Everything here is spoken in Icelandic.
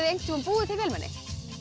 einhvern tíma búið til vélmenni